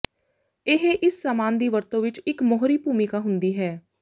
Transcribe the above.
ਇਹ ਇਸ ਸਾਮਾਨ ਦੀ ਵਰਤੋ ਵਿੱਚ ਇੱਕ ਮੋਹਰੀ ਭੂਮਿਕਾ ਹੁੰਦੀ ਹੈ